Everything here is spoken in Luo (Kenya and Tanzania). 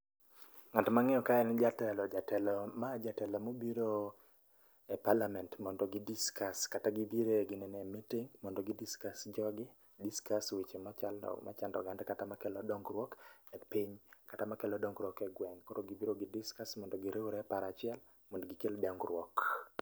Ng'at mangeyo kae n jatelo ,jatelo mobiro e parliament mondo gi discuss kata gibire meeting mondo gi discuss. Jogi discuss weche machando oganda kata makelo dongruok e piny kata makelo dongruok e gweng. Koro gibiro gi discuss mondo gikel paro achiel mondo gikel dongruok